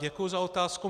Děkuji za otázku.